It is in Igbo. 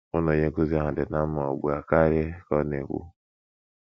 Mụ na onye nkụzi ahụ dị ná mma ugbu a karị, ” ka ọ na - ekwu.